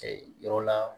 yɔrɔ la